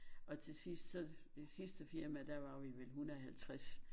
Og til sidst så det sidste firma der var vi vel 150